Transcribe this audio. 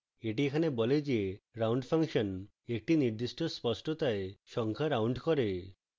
এটি এখানে বলে যে round ফাংশন একটি নির্দিষ্ট স্পষ্টতায় সংখ্যা round করে